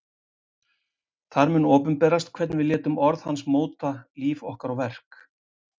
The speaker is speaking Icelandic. þar mun opinberast hvernig við létum orð hans móta líf okkar og verk